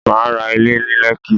Mà á ra Ilé ní Lẹ́kí